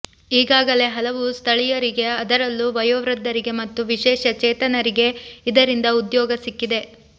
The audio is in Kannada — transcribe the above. ಈಗಾಗಲೇ ಹಲವು ಸ್ಥಳೀಯರಿಗೆ ಅದರಲ್ಲೂ ವಯೋವೃದ್ಧರಿಗೆ ಮತ್ತು ವಿಶೇಷ ಚೇತನರಿಗೆ ಇದರಿಂದ ಉದ್ಯೋಗ ಸಿಕ್ಕಿದೆ